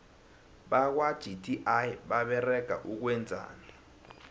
bakwa gti baberega ukwenzani